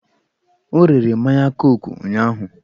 O rere mmanya koku ụnyụahụ.